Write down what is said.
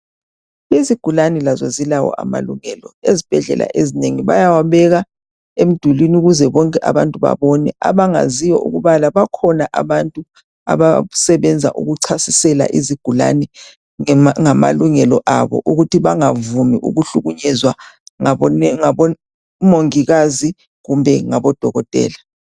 Izigulani lazo zilawo amalungelo ezibhedlela ezinengi bayawabeka emdulini ukuze bonke abantu babone .Abangaziyo ukubala bakhona abantu abasebenza ukuchasisela izigulani ngamalungelo abo ukuthi bangavumi ukuhlukunyezwa ngabomongikazi kumbe ngabodokotela .